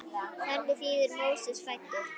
Þannig þýðir Móses fæddur.